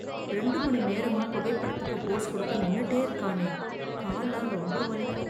ரெண்டு மணி நேரமா புகைப்படத்துக்கு போஸ் கொடுக்க நின்னுட்டே இருக்கானே கால்லாம் ரொம்ப வலிக்கும்